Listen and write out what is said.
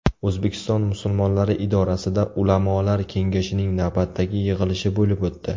O‘zbekiston musulmonlari idorasida ulamolar kengashining navbatdagi yig‘ilishi bo‘lib o‘tdi.